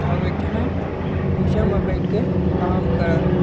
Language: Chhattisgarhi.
अऊ एक झन ह नीचे म बईठ के काम करत हे।